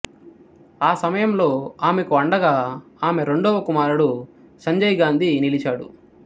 ఆ సమయంలో ఆమెకు అండగా ఆమె రెండవ కుమారుడు సంజయ్ గాంధీ నిలిచాడు